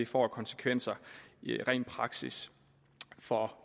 får af konsekvenser i ren praksis for